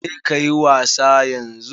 Je kayi wasa yanzu.